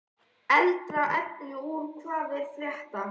Eldra efni úr Hvað er að frétta?